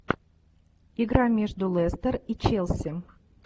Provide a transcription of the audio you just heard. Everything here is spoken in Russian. игра между лестер и челси